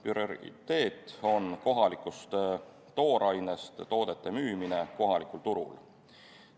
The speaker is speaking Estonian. Prioriteet on kohalikust toorainest toodete müümine kohalikul turul.